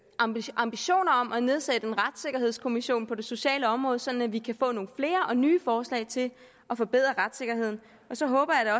ambitioner ambitioner om at nedsætte en retssikkerhedskommission på det sociale område sådan at vi kan få nogle flere og nye forslag til at forbedre retssikkerheden og så håber jeg